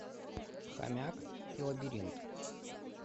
хомяк и лабиринт